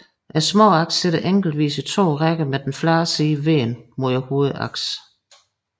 Småaksene sidder enkeltvist i to rækker med den flade side vendt mod hovedaksen